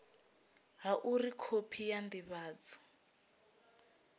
ha uri khophi ya ndivhadzo